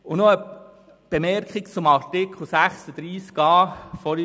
Noch eine Bemerkung zu Lars Guggisberg und zu Artikel 36a.